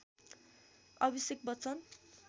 Abhishek Bachchan